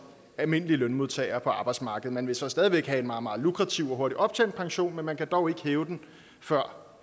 almindelige lønmodtagere på arbejdsmarkedet man vil så stadig væk have en meget meget lukrativ og hurtigt optjent pension men man kan dog ikke hæve den før